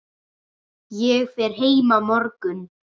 Ég fer heim á morgun.